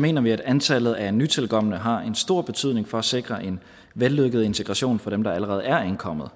mener vi at antallet af nytilkomne har en stor betydning for at sikre en vellykket integration for dem der allerede er ankommet